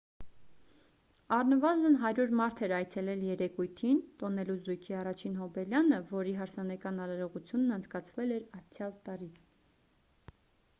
առնվազն 100 մարդ էր այցելել երեկույթին տոնելու զույգի առաջին հոբելյանը որի հարսանեկան արարողությունն անցկացվել էր անցյալ տարի